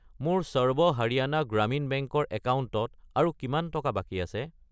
মোৰ সৰ্ব হাৰিয়ানা গ্ৰামীণ বেংক ৰ একাউণ্টত আৰু কিমান টকা বাকী আছে?